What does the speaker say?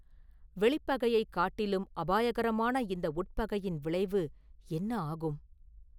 வெளிப்பகையைக் காட்டிலும் அபாயகரமான இந்த உட்பகையின் விளைவு என்ன ஆகும்?